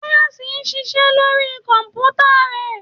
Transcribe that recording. Tọ́yọ̀sí ń ṣiṣẹ́ lórí kọ̀m̀pútà rẹ̀.